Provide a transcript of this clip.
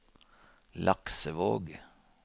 Laksevåg